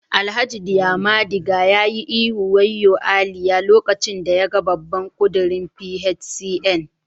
Alhaji diamadiga ya yi ihu waoyo Aliyah lokacin da yaga babban kudirin PHCN